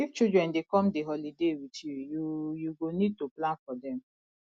if children dey come di holiday with you you you go need to plan for dem